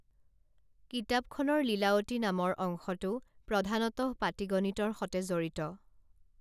কিতাপখনৰ লীলাৱতী নামৰ অংশটো প্ৰধানতঃ পাটীগণিতৰ সতে জড়িত